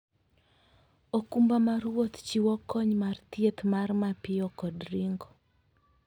okumba mar wuoth chiwo kony mar thieth mar mapiyo kod ringo.